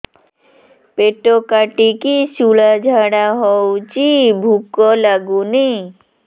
ପେଟ କାଟିକି ଶୂଳା ଝାଡ଼ା ହଉଚି ଭୁକ ଲାଗୁନି